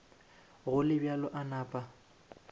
go le bjalo a napa